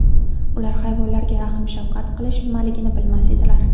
Ular hayvonlarga rahm-shafqat qilish nimaligini bilmas edilar.